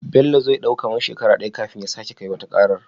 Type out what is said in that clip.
Bello zai dau kaman shekara daya kafin ya sake yi wata waƙar?